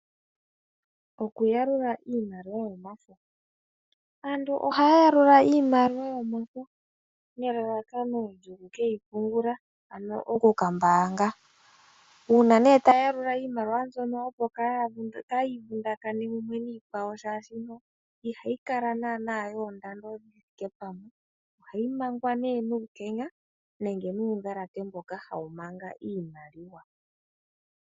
Okuyalula iimaliwa yomafo, aantu ohaya yalula iimaliwa yomafo nelalakano lyokukeyi pungula ano okukambaanga, uuna nee taya yalula iimaliwa mbyono opo kaayi vundakane mumwe niikwawo shaashino ihayi kala naana yoondando dhi thike pamwe ohayi mangwa nee nuukenya nenge nuundhalate mboka hawu manga iimaliwa.